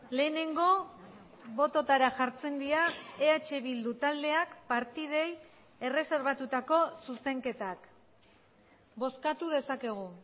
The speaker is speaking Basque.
lehenengo bototara jartzen dira eh bildu taldeak partidei erreserbatutako zuzenketak bozkatu dezakegu